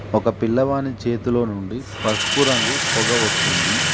ఒక పిల్లవాని చేతిలో నుండి పసుపు రంగు పొగ వస్తుంది.